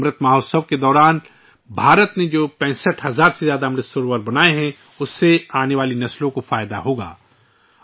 'امرت مہوتسو' کے دوران بھارت نے ، جو 65 ہزار سے زیادہ 'امرت سروور' تیار کیے ہیں ، ان سے آنے والی نسلوں کو فائدہ ہوگا